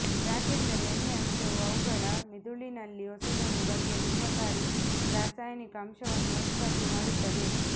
ಯಾಕೆಂದರೆ ಎಣ್ಣೆ ಅಂಶವು ಅವುಗಳ ಮಿದುಳಿನಲ್ಲಿ ಹೊಸದೊಂದು ಬಗೆಯ ವಿಷಕಾರಿ ರಾಸಾಯನಿಕ ಅಂಶವನ್ನು ಉತ್ಪತ್ತಿ ಮಾಡುತ್ತದೆ